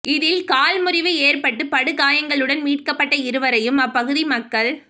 இதில் கால் முறிவு ஏற்பட்டு படுகாயங்களுடன் மீட்கப்பட்ட இருவரையும் அப்பகுதி மக்கள்